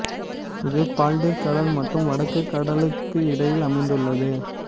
இது பால்டிக் கடல் மற்றும் வடக்கு கடலுக்கு இடையில் அமைந்துள்ளது